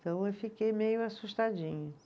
Então eu fiquei meio assustadinha.